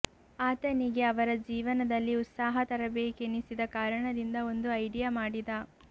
ಆತನಿಗೆ ಅವರ ಜೀವನದಲ್ಲಿ ಉತ್ಸಾಹ ತರಬೇಕೆನಿಸಿದ ಕಾರಣದಿಂದ ಒಂದು ಐಡಿಯಾ ಮಾಡಿದ